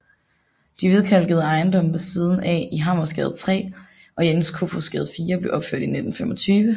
De hvidkalkede ejendomme ved siden af i Hammerensgade 3 og Jens Kofods Gade 4 blev opført i 1925